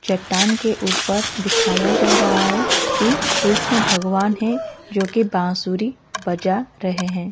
चट्टान के ऊपर दिखाई जा रहा है कि कृष्ण भगवान हैं जो की बांसुरी बजा रहे हैं।